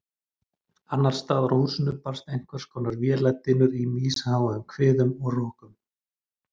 Annarsstaðar úr húsinu barst einhverskonar véladynur í misháum hviðum og rokum.